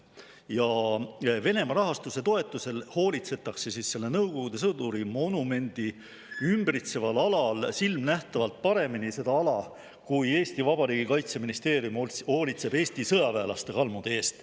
Ja Venemaa rahastuse toetusel hoolitsetakse selle Nõukogude sõduri monumendi ümbritseval alal silmnähtavalt paremini seda ala, kui Eesti Vabariigi kaitseministeerium hoolitseb Eesti sõjaväelaste kalmude eest.